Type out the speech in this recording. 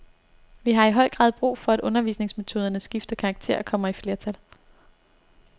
Vi har i høj grad brug for, at undervisningsmetoderne skifter karakter og kommer i flertal.